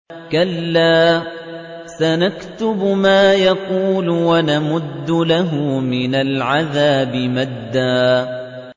كَلَّا ۚ سَنَكْتُبُ مَا يَقُولُ وَنَمُدُّ لَهُ مِنَ الْعَذَابِ مَدًّا